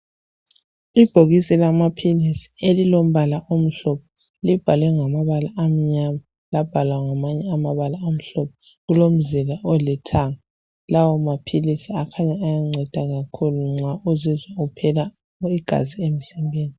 Ibhokisi lamaphilisi elilombala omhlophe libhalwe ngamabala amnyama labhalwa ngamanye amabala amhlophe lilomzila olithanga lawomaphilisi akhanya ayanceda kakhulu nxa uzizwa uphela igazi emzimbeni.